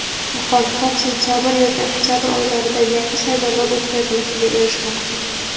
muxolifat sentyabr yoki oktyabr oylarida yangi saylovlar o‘tkazilishiga erishmoqchi.